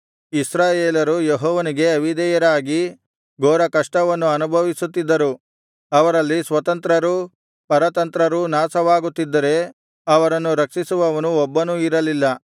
ಇಸ್ರಾಯೇಲರು ಯೆಹೋವನಿಗೆ ಅವಿಧೇಯರಾಗಿ ಘೋರಕಷ್ಟವನ್ನು ಅನುಭವಿಸುತ್ತಿದ್ದರು ಅವರಲ್ಲಿ ಸ್ವತಂತ್ರರೂ ಪರತಂತ್ರರೂ ನಾಶವಾಗುತ್ತಿದ್ದರೆ ಅವರನ್ನು ರಕ್ಷಿಸುವವನು ಒಬ್ಬನೂ ಇರಲಿಲ್ಲ